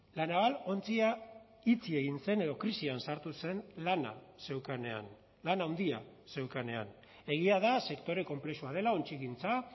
la naval ontzia itxi egin zen edo krisian sartu zen lana zeukanean lan handia zeukanean egia da sektore konplexua dela ontzigintza